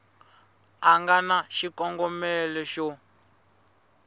a nga na xikongomelo xo